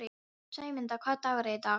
Sæmunda, hvaða dagur er í dag?